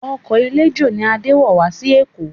Ọkọ̀ eléjò ni Adé wọ̀ wá sí Èkó